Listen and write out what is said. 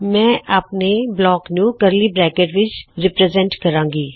ਮੈਂ ਆਪਣੇ ਬਲਾਕ ਨੂੰ ਕਰਲੀ ਬਰੈਕਟਸ ਵਿੱਚ ਪ੍ਰਸਤੁਤ ਕਰਾਂਗਾ